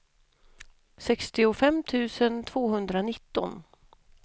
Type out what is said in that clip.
sextiofem tusen tvåhundranitton